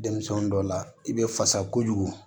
Denmisɛnnin dɔ la i bɛ fasa kojugu